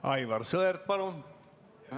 Aivar Sõerd, palun!